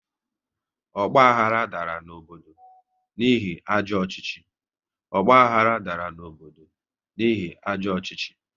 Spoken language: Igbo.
Ọgbahara dara n'obodo n'ihi ajọ ọchịchị